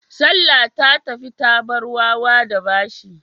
Salla ta tafi ta bar wawa da bashi.